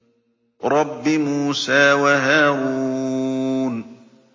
رَبِّ مُوسَىٰ وَهَارُونَ